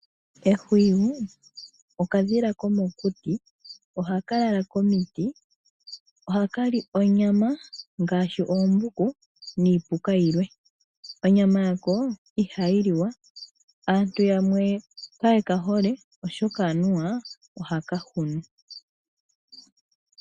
Ehwiyu, okadhila komokuti, ohaka lala komiti, ohaka li onyama ngaashi oombuku niipuka yilwe. Onyama yako ihayi liwa. Aantu yamwe kaye ka hole, oshoka anuwa ohaka hunu.